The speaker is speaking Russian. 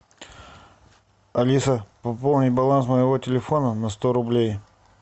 алиса пополни баланс моего телефона на сто рублей